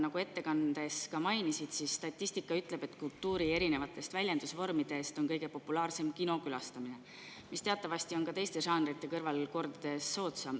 Nagu sa ettekandes mainisid, statistika ütleb, et kultuuri erinevatest väljendusvormidest on kõige populaarsem kinokülastamine, mis teatavasti on teistest žanridest kordades soodsam.